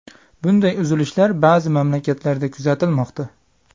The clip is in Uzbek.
Bunday uzilishlar ba’zi mamlakatlarda kuzatilmoqda.